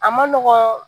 A ma nɔgɔn